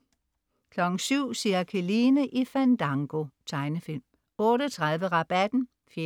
07.00 Cirkeline i Fandango. Tegnefilm 08.30 Rabatten 4:13*